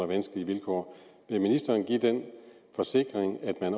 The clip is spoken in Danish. vanskelige vilkår vil ministeren give den forsikring at